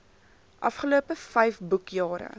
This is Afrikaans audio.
afgelope vyf boekjare